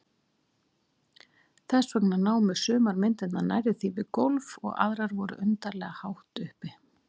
Þess vegna námu sumar myndirnar nærri því við gólf og aðrar voru undarlega hátt uppi.